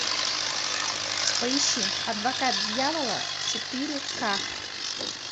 поищи адвокат дьявола четыре ка